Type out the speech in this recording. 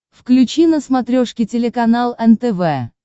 включи на смотрешке телеканал нтв